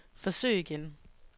forsøg igen